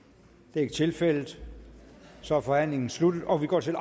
det er ikke tilfældet så er forhandlingen sluttet og vi går til